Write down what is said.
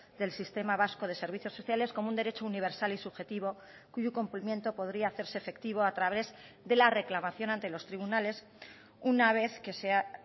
del sistema vasco de servicios sociales como un derecho universal y subjetivo cuyo cumplimiento podría hacerse efectivo a través de la reclamación ante los tribunales una vez que se ha